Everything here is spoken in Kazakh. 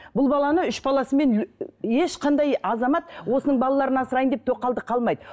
бұл баланы үш баласымен ешқандай азамат осының балаларын асыраймын деп тоқалдыққа алмайды